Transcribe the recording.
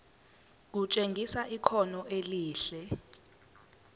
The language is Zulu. kutshengisa ikhono elihle